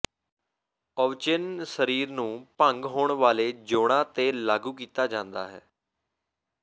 ਓਵਚਿਨ ਸਰੀਰ ਨੂੰ ਭੰਗ ਹੋਣ ਵਾਲੇ ਜੋੜਾਂ ਤੇ ਲਾਗੂ ਕੀਤਾ ਜਾਂਦਾ ਹੈ